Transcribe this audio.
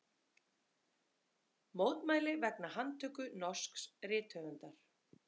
Mótmæli vegna handtöku norsks rithöfundar